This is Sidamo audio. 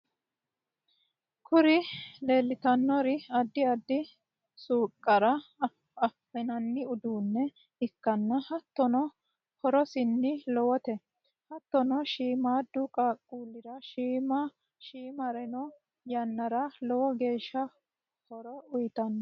kuri leelitannori addi addi suuqara afi'nanni uduunne ikkanna hattonni horosino lowote. hattonni shiimadu qaaqulira shuma shumaaranno yannara lowo geeshsha horo uyitanno.